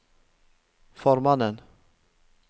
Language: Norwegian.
formannen